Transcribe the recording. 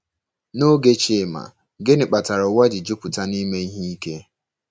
Noge Chima, gịnị kpatara ụwa ji jupụta nime ihe ike?